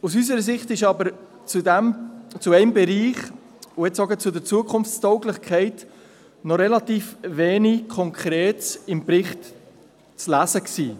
Aus unserer Sicht war aber zu einem Bereich und gerade auch zur Zukunftstauglichkeit noch relativ wenig Konkretes im Bericht zu lesen.